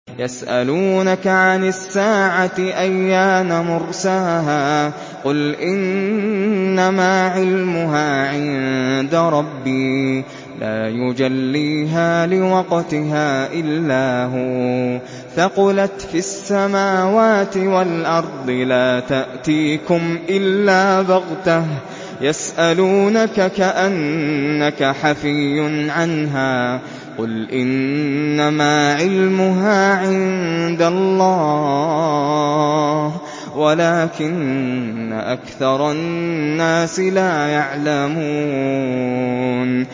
يَسْأَلُونَكَ عَنِ السَّاعَةِ أَيَّانَ مُرْسَاهَا ۖ قُلْ إِنَّمَا عِلْمُهَا عِندَ رَبِّي ۖ لَا يُجَلِّيهَا لِوَقْتِهَا إِلَّا هُوَ ۚ ثَقُلَتْ فِي السَّمَاوَاتِ وَالْأَرْضِ ۚ لَا تَأْتِيكُمْ إِلَّا بَغْتَةً ۗ يَسْأَلُونَكَ كَأَنَّكَ حَفِيٌّ عَنْهَا ۖ قُلْ إِنَّمَا عِلْمُهَا عِندَ اللَّهِ وَلَٰكِنَّ أَكْثَرَ النَّاسِ لَا يَعْلَمُونَ